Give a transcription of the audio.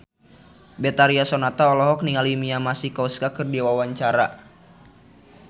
Betharia Sonata olohok ningali Mia Masikowska keur diwawancara